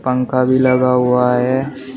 पंखा भी लगा हुआ है।